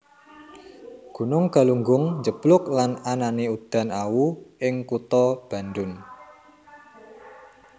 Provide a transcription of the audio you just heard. Gunung Galunggung njeblug lan anané udan awu ing kutha Bandung